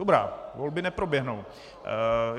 Dobrá, volby neproběhnou.